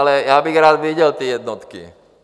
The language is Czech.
Ale já bych rád viděl ty jednotky!